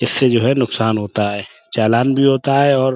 اسے جو ہے نکسان ہوتا ہے۔ چالان بھی ہوتا ہے اور --